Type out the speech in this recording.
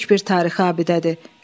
böyük bir tarixi abidədir.